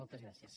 moltes gràcies